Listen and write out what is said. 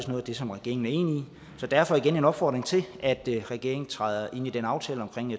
noget af det som regeringen er enig i så derfor igen en opfordring til at regeringen træder ind i den aftale om